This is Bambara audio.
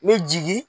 N bɛ jigin